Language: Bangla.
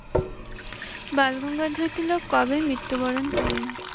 বালগঙ্গাধর তিলক কবে মৃত্যু বরন করেন?